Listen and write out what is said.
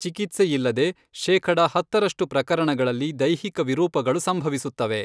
ಚಿಕಿತ್ಸೆಯಿಲ್ಲದೆ, ಶೇಖಡ ಹತ್ತರಷ್ಟು ಪ್ರಕರಣಗಳಲ್ಲಿ ದೈಹಿಕ ವಿರೂಪಗಳು ಸಂಭವಿಸುತ್ತವೆ.